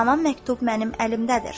Haman məktub mənim əlimdədir.